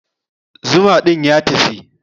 Zuma din ya tafi.